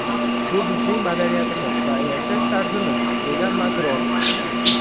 Bu bizning madaniyatimiz va yashash tarzimiz”, degan Makron.